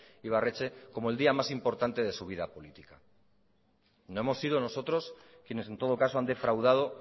ibarretxe como el día más importante de su vida política no hemos sido nosotros quienes en todo caso han defraudado